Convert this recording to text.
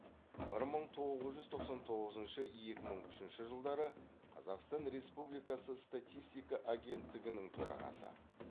бір мың тоғыз жүз тоқсан тоғызыншы екі мың үшінші жылдары қазақстан республикасы статиститка агенттігінің төрағасы